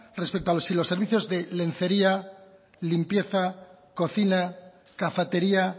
respecto a si los servicios de lencería limpieza cocina cafetería